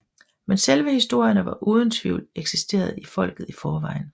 Men selve historierne har uden tvivl eksisteret i folket i forvejen